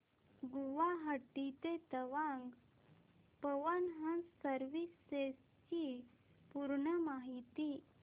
गुवाहाटी ते तवांग पवन हंस सर्विसेस ची पूर्ण माहिती